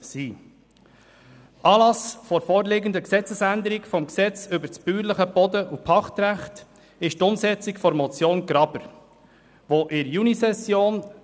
Anlass der vorliegenden Änderung des Gesetzes über das bäuerliche Boden- und Pachtrecht (BPG) ist die Umsetzung der Motion Graber «Gewerbegrenze generell auf 0,6 SAK festlegen».